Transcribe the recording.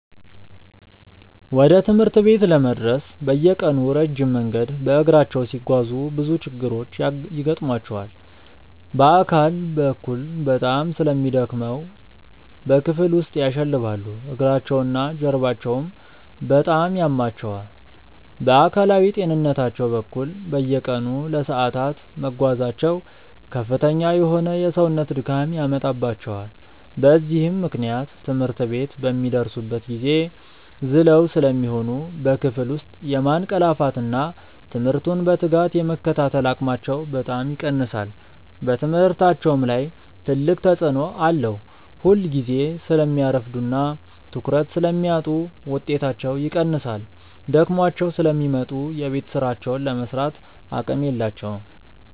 ወደ ትምህርት ቤት ለመድረስ በየቀኑ ረጅም መንገድ በእግራቸው ሲጓዙ ብዙ ችግሮች ይገጥሟቸዋል። በአካል በኩል በጣም ስለሚደክሙ በክፍል ውስጥ ያሸልባሉ፤ እግራቸውና ጀርባቸውም በጣም ያማቸዋል። በአካላዊ ጤንነታቸው በኩል፣ በየቀኑ ለሰዓታት መጓዛቸው ከፍተኛ የሆነ የሰውነት ድካም ያመጣባቸዋል። በዚህም ምክንያት ትምህርት ቤት በሚደርሱበት ጊዜ ዝለው ስለሚሆኑ በክፍል ውስጥ የማንቀላፋትና ትምህርቱን በትጋት የመከታተል አቅማቸው በጣም ይቀንሳል። በትምህርታቸውም ላይ ትልቅ ተጽዕኖ አለው፤ ሁልጊዜ ስለሚያረፍዱና ትኩረት ስለሚያጡ ውጤታቸው ይቀንሳል። ደክሟቸው ስለሚመጡ የቤት ሥራቸውን ለመሥራትም አቅም የላቸውም።